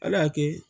Ala y'a kɛ